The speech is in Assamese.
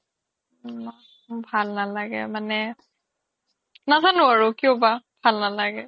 ভাল নালাগে মানে নাজানো আৰু কিয় বা ভাল নালাগে